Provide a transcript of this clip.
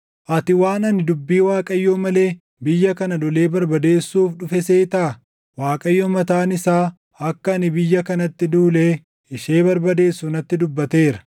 Ati waan ani dubbii Waaqayyoo malee biyya kana lolee barbadeessuuf dhufe seetaa? Waaqayyo mataan isaa akka ani biyya kanatti duulee ishee barbadeessu natti dubbateera.’ ”